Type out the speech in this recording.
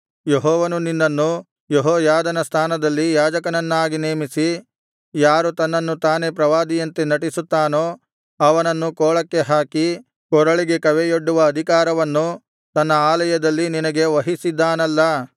ಯೆಹೋವನು ನಿನ್ನನ್ನು ಯೆಹೋಯಾದನ ಸ್ಥಾನದಲ್ಲಿ ಯಾಜಕನನ್ನಾಗಿ ನೇಮಿಸಿ ಯಾರು ತನ್ನನ್ನು ತಾನೇ ಪ್ರವಾದಿಯಂತೆ ನಟಿಸುತ್ತಾನೋ ಅವನನ್ನು ಕೋಳಕ್ಕೆ ಹಾಕಿ ಕೊರಳಿಗೆ ಕವೆಯೊಡ್ಡುವ ಅಧಿಕಾರವನ್ನು ತನ್ನ ಆಲಯದಲ್ಲಿ ನಿನಗೆ ವಹಿಸಿದ್ದಾನಲ್ಲಾ